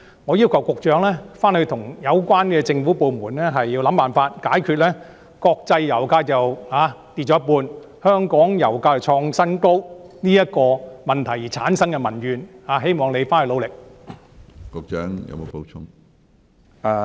我要求局長與有關政府部門設法解決國際油價下跌一半，但香港油價卻創新高所產生的民怨，希望局長努力解決這個問題。